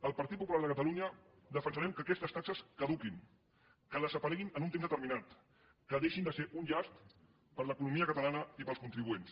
el partit popular de catalunya defensarem que aquestes taxes caduquin que desapareguin en un temps determinat que deixin de ser un llast per a l’economia catalana i per als contribuents